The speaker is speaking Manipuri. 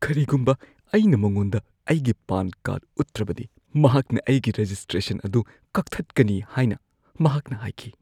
ꯀꯔꯤꯒꯨꯝꯕ ꯑꯩꯅ ꯃꯉꯣꯟꯗ ꯑꯩꯒꯤ ꯄꯥꯟ ꯀꯥꯔꯗ ꯎꯠꯇ꯭ꯔꯕꯗꯤ, ꯃꯍꯥꯛꯅ ꯑꯩꯒꯤ ꯔꯦꯖꯤꯁꯇ꯭ꯔꯦꯁꯟ ꯑꯗꯨ ꯀꯛꯊꯠꯀꯅꯤ ꯍꯥꯏꯅ ꯃꯍꯥꯛꯅ ꯍꯥꯏꯈꯤ꯫